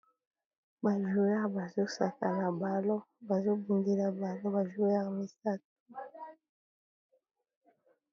Ba joueur bazosaka na balon bazo bundela balon ba joueur misatu.